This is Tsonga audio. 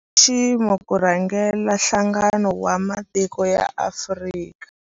Nxiximo ku rhangela Nhlangano wa Matiko ya Afrika.